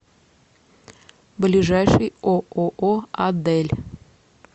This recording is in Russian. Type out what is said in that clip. ближайший ооо адель